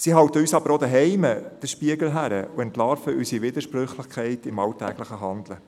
Sie halten uns aber auch zu Hause den Spiegel vor und entlarven unsere Widersprüchlichkeit im alltäglichen Handeln.